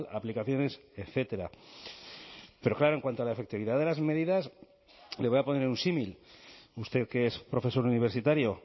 aplicaciones etcétera pero claro en cuanto a la efectividad de las medidas le voy a poner un símil usted que es profesor universitario